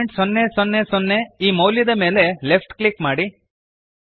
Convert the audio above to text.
0000 ಈ ಮೌಲ್ಯದ ಮೇಲೆ ಲೆಫ್ಟ್ ಕ್ಲಿಕ್ ಮಾಡಿರಿ